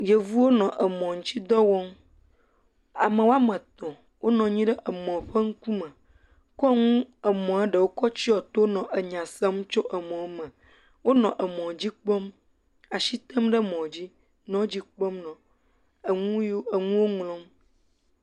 Yevuwo nɔ emɔ̃ ŋutsi dɔ wɔm. Ame woame tɔ̃ wonɔ anyi ɖe emɔ̃ ƒe ŋkume kɔ nu, emɔ̃a ɖewo kɔ tsyɔ to nɔ enya sem tso emɔ̃me. Enɔ emɔ̃dzi kpɔm, ash item ɖe emɔ̃dzi, nɔ dzi kpɔm nɔ enu yiwo, enuwo ŋlɔm.